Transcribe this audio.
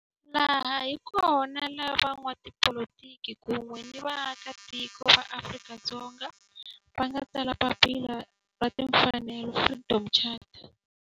Laha hi kona la van'watipolitiki kun'we ni vaaka tiko va Afrika-Dzonga va nga tsala papila ra timfanelo, Freedom Charter.